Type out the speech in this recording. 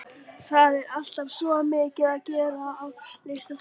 Það er alltaf svo mikið að gera á Listasafninu.